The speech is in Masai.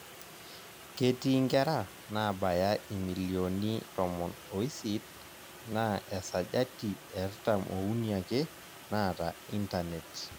Ketii nkera naabaya imilioni tomom oisit naa esajati eartam ouni ake naata intanet.